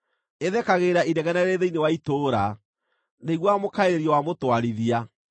Ĩthekagĩrĩra inegene rĩrĩ thĩinĩ wa itũũra; ndĩiguaga mũkaĩrĩrio wa mũtwarithia.